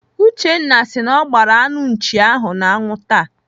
Uchenna si na ọ gbaara anụ nchi ahụ n'anwụ taa.